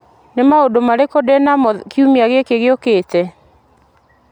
nĩ maũndũ marĩkũ ndĩnamo kiumia-inĩ gĩkĩ gĩũkĩte